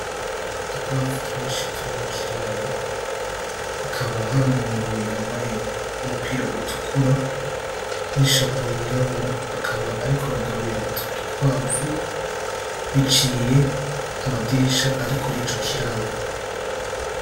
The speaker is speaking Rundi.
Udukwavu twinshi turi muri kiraro, hakaba hari umuntu yambaye umupira utukura n’ishapo yirabura, akaba ariko aragaburira utwo dukwavu biciye mu madirisha ari kuri ico kiraro.